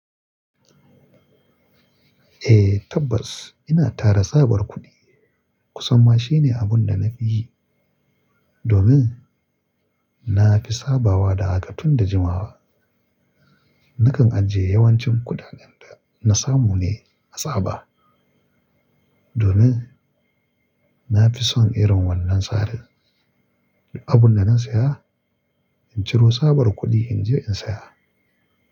Eh tabbas ina tara tsabar kuɗi. Kusan ma shine abun da na fi yi domin nafi sabawa da haka tun da jimawa. Nakan ajiye yawancin kuɗaɗen da na samu ne a tsaba domin na fi son irin wannan tsarin. Abun da na saya, in ciro tsabar kuɗin, in je in saya.